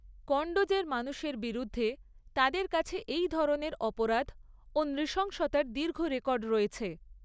কন্ডোজের মানুষের বিরুদ্ধে তাদের কাছে এই ধরনের অপরাধ ও নৃশংসতার দীর্ঘ রেকর্ড রয়েছে।